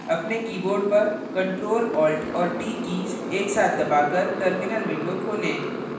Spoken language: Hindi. अपने कीबोर्ड पर ctrl alt और t कीज़ एक साथ दबाकर terminal window खोलें